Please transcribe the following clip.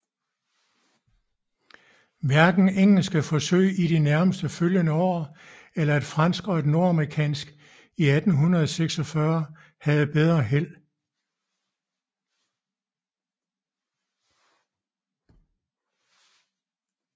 Hverken engelske forsøg i de nærmest følgende år eller et fransk og et nordamerikansk 1846 havde bedre held